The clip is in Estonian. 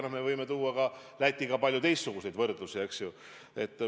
No me võime tuua Lätiga palju teistsuguseidki võrdlusi, eks ju.